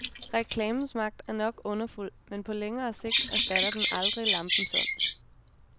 Reklamens magt er nok underfuld, men på længere sigt erstatter den aldrig lampens ånd.